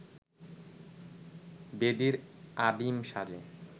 ব্যাধির আদিম সাজে